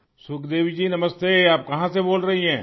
سکھ دیوی جی نمستے! آپ کہاں سے بول رہی ہیں؟